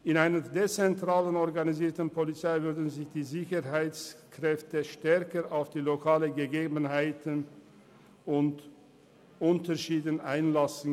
In einer dezentral organisierten Polizei könnten sich die Sicherheitskräfte stärker auf die lokalen Gegebenheiten und Unterschiede einlassen.